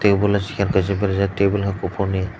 table kaisa chair berajak table hwnkhe kuphuruni.